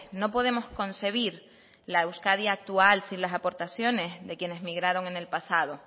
no podemos concebir la euskadi actual sin las aportaciones de quienes migraron en el pasado